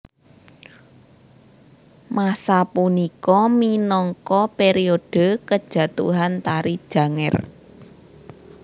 Masa punika minangka periode kejatuhan Tari Janger